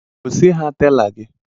Gosi ha tela gi